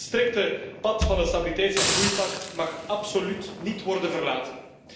Het strikte pad van het stabiliteits en groeipact mag absoluut niet worden verlaten.